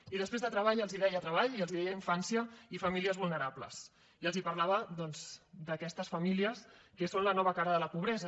i després de treball els deia treball i els deia infància i famílies vulnerables i els parlava doncs d’aquestes famílies que són la nova cara de la pobresa